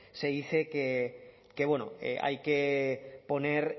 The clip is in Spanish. se dice que hay que poner